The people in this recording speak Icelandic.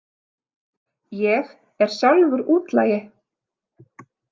Ég er sjálfur útlagi.